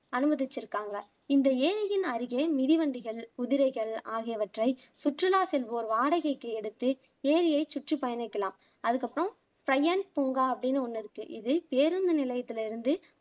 அனுமதிச்சுருக்காங்க இந்த ஏரியின் அருகே மிதிவண்டிகள், குதிரைகள் ஆகியவற்றை சுற்றுலா செல்வோர் வாடகைக்கு எடுத்து ஏரியைச் சுற்றி பயணிக்கலாம் அதுக்கு அப்பறம் ப்ரையன்ட் பூங்கா அப்படின்னு ஒண்ணு இருக்கு இது பேருந்து நிலையத்துல இருந்து